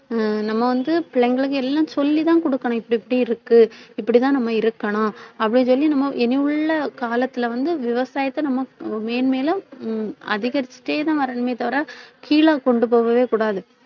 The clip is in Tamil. ஹம் நம்ம வந்து பிள்ளைங்களுக்கு எல்லாம் சொல்லிதான் கொடுக்கணும். இப்படி இப்படி இருக்கு. இப்படிதான் நம்ம இருக்கணும். அப்படின்னு சொல்லி நம்ம இனி உள்ள காலத்தில வந்து விவசாயத்தை நம்ம மேன்மேலும் ஹம் அதிகரிச்சுட்டேதான் வரணுமே தவிர கீழ கொண்டு போகவே கூடாது